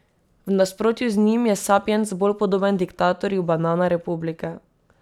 V nasprotju z njimi je sapiens bolj podoben diktatorju banana republike.